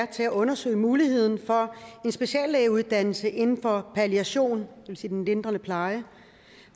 til at undersøge muligheden for en speciallægeuddannelse inden for palliation det vil sige den lindrende pleje